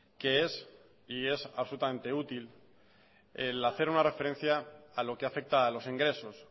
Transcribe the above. que es y es absolutamente útil el hacer una referencia a lo que afecta a los ingresos